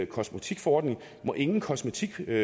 kosmetikforordning må ingen kosmetikprodukter